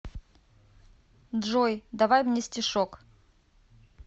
джой давай мне стишок